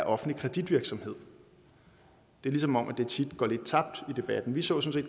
offentlig kreditvirksomhed det er som om det tit går lidt tabt i debatten vi så sådan